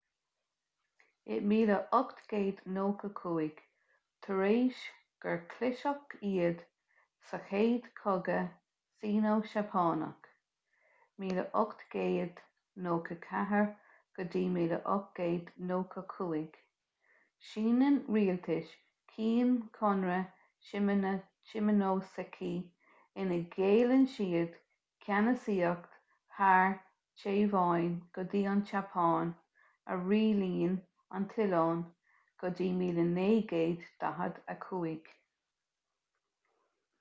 in 1895 tar éis gur chliseadh iad sa chéad chogadh sino-seapánach 1894-1895 síneann rialtas qing conradh shimonoseki ina ghéilleann siad ceannasaíocht thar téaváin go dtí an tseapáin a rialaíonn an t-oileán go dtí 1945